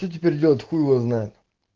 что теперь делать хуй его знает